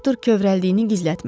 Doktor kövrəldiyini gizlətmədi.